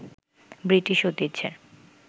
British ঐতিহ্যের